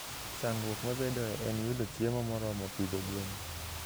Chandruok mabedoe en yudo chiemo moromo pidho gwen.